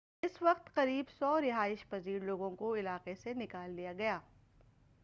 اس وقت قریب 100 رہائش پزیر لوگوں کو علاقے سے نکال لیا گیا